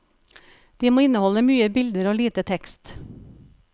De må inneholde mye bilder og lite tekst.